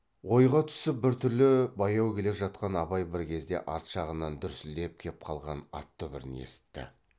ойға түсіп бір түрлі баяу келе жатқан абай бір кезде арт жағынан дүрсілдеп кеп қалған ат дүбірін есітті